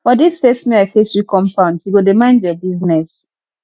for dis face me i face you compound you go dey mind your business